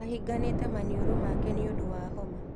Ahinganĩte maniũrũ make nĩũndũ wa homa.